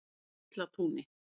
Geislatúni